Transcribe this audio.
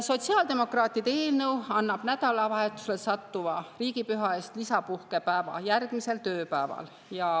Sotsiaaldemokraatide eelnõu annab nädalavahetusele sattuva riigipüha puhul lisapuhkepäeva järgmisel tööpäeval.